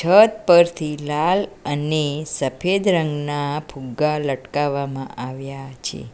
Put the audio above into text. છત પરથી લાલ અને સફેદ રંગના ફુગ્ગા લટકાવવામાં આવ્યા છે.